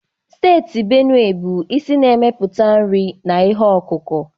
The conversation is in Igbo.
Steeti Benue bụ isi na-emepụta nri na ihe ọkụkụ.